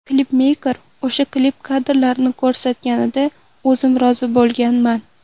Klipmeyker o‘sha klip kadrlarini ko‘rsatganida o‘zim rozi bo‘lganman.